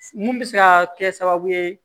Mun bɛ se ka kɛ sababu ye